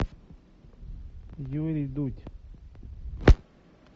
юрий дудь